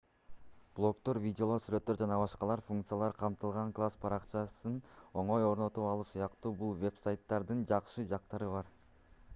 блогдор видеолор сүрөттөр ж.б. функциялар камтылган класс баракчасын оңой орнотуп алуу сыяктуу бул вебсайттардын жакшы жактары бар